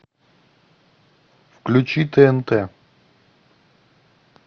включи тнт